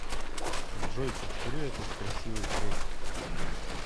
джой повтори этот красивый трек